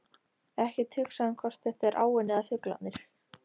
Ekkert hugsa um hvort þetta er áin eða fuglarnir.